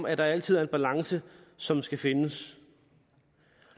at der altid er en balance som skal findes